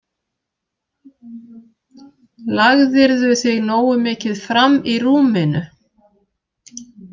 Lagðirðu þig nógu mikið fram í rúminu?